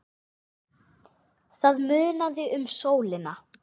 Það munaði um sólina.